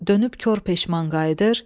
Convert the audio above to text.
dönüb kor peşman qayıdır.